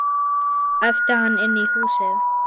æpti hann inn í húsið.